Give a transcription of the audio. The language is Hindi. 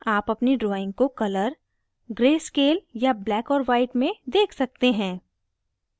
आप अपनी drawing को color gray scale या black और white में देख सकते हैं